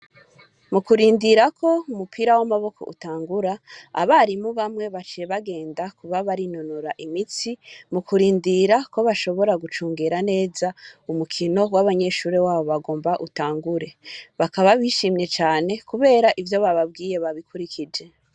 Mukurindirako umupira w'amaboko utangura abarimu bamwe baciye bagenda kuba barinonora imitsi mukurindira ko bashobora gucungera neza urukino gw'abanyeshure babo bagomba utangure. Bakaba bishimye cane kubera ivyo bababwiye babikurikije.